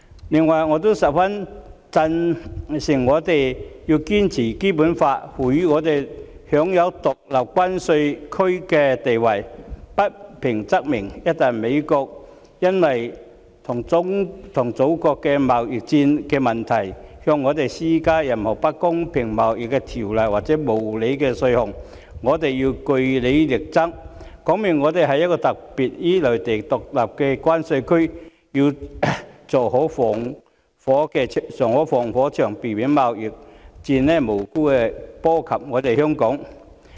此外，我也十分贊成我們要堅持《基本法》賦予我們享有獨立關稅區的地位，不平則鳴，一旦美國因為與祖國進行貿易戰的問題而向我們施加任何不公平貿易條例或無理的稅項，我們便要據理力爭，表明香港是有別於內地的獨立關稅區，要做好防火牆，避免貿易戰無辜波及香港。